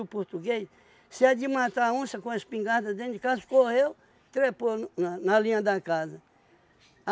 português, se é de matar a onça com a espingarda dentro de casa, correu, trepou na na linha da casa.